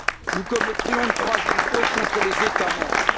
Nous commettrions une troisième faute contre les États membres.